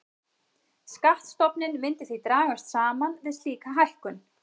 Skattstofninn myndi því dragast saman við slíka hækkun.